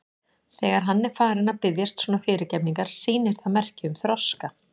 Þegar hann er farinn að biðjast svona fyrirgefningar sýnir það merki um þroska.